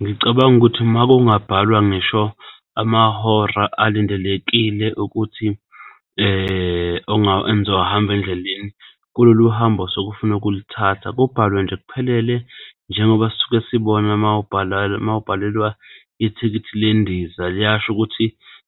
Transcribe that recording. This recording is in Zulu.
Ngicabanga ukuthi uma kungabhalwa ngisho amahora alindelekile ukuthi enizowahamba endleleni kulolu hambo osofuna ukulithatha, kubhalwe nje kuphelele njengoba sisuke sibona uma ubhala, mawubhalelwa ithikithi lendiza liyasho ukuthi